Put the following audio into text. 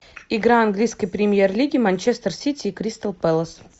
игра английской премьер лиги манчестер сити и кристал пэлас